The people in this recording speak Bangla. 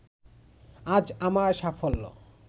আজ আমার সাফল্য